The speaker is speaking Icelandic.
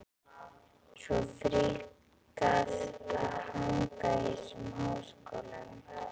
Svo fríkað að hanga í þessum háskólum!